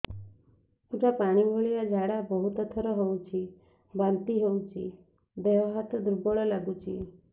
ପୁରା ପାଣି ଭଳିଆ ଝାଡା ବହୁତ ଥର ହଉଛି ବାନ୍ତି ହଉଚି ଦେହ ହାତ ଦୁର୍ବଳ ଲାଗୁଚି